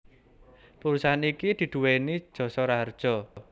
Perusahaan iki diduweni Jasa Raharja